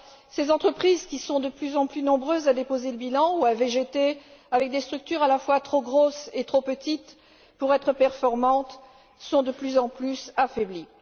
Ces entreprises, qui sont de plus en plus nombreuses à déposer le bilan ou à végéter avec des structures à la fois trop grosses et trop petites pour être performantes, sont de plus en plus affaiblies.